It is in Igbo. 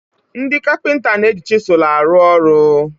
Ndị kapịnta na-eji chizụl arụ ọrụ.